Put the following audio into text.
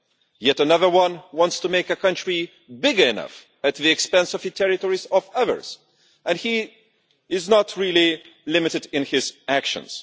Yet another one wants to make a country big enough at the expense of territories of others. And he is not really limited in his actions.